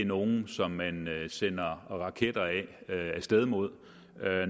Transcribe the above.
nogle som man sender raketter af sted mod